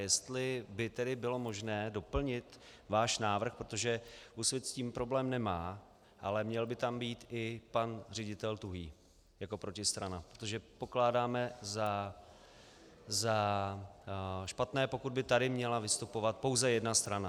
Jestli by tedy bylo možné doplnit váš návrh, protože Úsvit s tím problém nemá, ale měl by tam být i pan ředitel Tuhý jako protistrana, protože pokládáme za špatné, pokud by tady měla vystupovat pouze jedna strana.